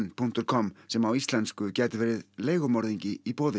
punktur com sem á íslensku gæti verið leigumorðingi í boði